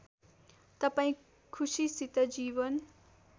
तपाईँ खुसीसित जीवन